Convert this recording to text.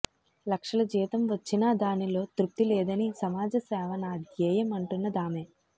లక్షల జీతం వచ్చినా దానిలో తృప్తి లేదని సమాజ సేవ నా ధ్యేయం అంటున్నదామె